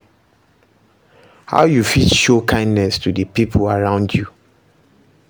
How you fit show kindness to di people around you?